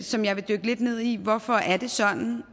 som jeg vil dykke lidt ned i hvorfor er det sådan